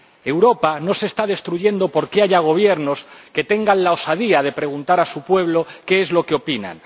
Europa no se está destruyendo porque haya Gobiernos que tengan la osadía de preguntar a su pueblo qué es lo que opina.